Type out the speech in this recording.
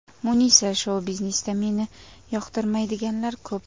Munisa :– Shou-biznesda meni yoqtirmaydiganlar ko‘p.